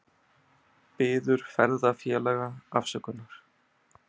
Biður ferðafélaga afsökunar